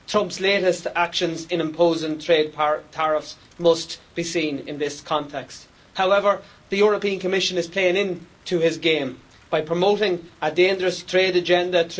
Trump's latest actions in imposing trade tariffs must be seen in this context. However, the European Commission is playing in to his game by promoting a dangerous trade agenda.